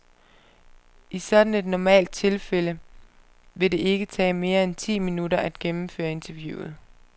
I sådan et normalt tilfælde vil det ikke tage mere end ti minutter at gennemføre interviewet.